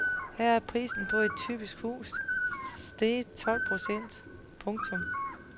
Her er prisen på et typisk hus steget tolv procent. punktum